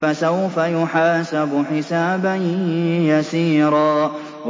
فَسَوْفَ يُحَاسَبُ حِسَابًا يَسِيرًا